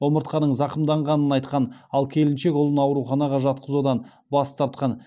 омыртқаның зақымданғанын айтқан ал келіншек ұлын ауруханаға жатқызудан бас тартқан